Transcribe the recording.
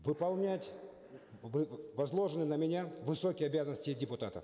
выполнять возложенные на меня высокие обязанности депутата